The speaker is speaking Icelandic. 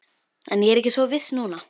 En ég er ekki svo viss núna